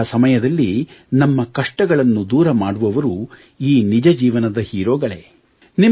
ಅಂತಹ ಸಮಯದಲ್ಲಿ ನಮ್ಮ ಕಷ್ಟಗಳನ್ನು ದೂರ ಮಾಡುವವರು ಈ ನಿಜಜೀವನದ ಹೀರೋಗಳೇ